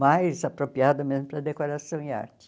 mais apropriada mesmo para decoração e arte.